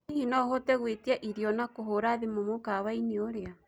hĩhĩ no uhote gũĩtĩaĩrĩo na kuhura thĩmũ mũkawaĩni uria